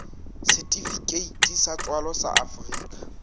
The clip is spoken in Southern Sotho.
setifikeiti sa tswalo sa afrika